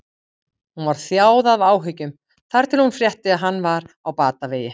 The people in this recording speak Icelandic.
Hún var þjáð af áhyggjum þar til hún frétti að hann var á batavegi.